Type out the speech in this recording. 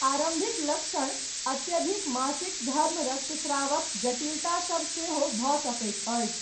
आरम्भिक लक्षण अत्यधिक मासिक धर्म रक्तस्रावक जटिलता सभ सेहो भऽ सकैत अछि।